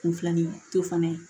Kunfilaninto fana ye